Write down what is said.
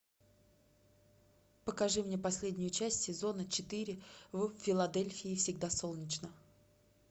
покажи мне последнюю часть сезона четыре в филадельфии всегда солнечно